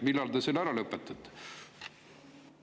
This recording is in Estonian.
Millal te selle ära lõpetate?